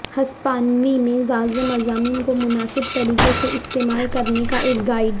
ہسپانوی میں واضح مضامین کو مناسب طریقے سے استعمال کرنے کا ایک گائیڈ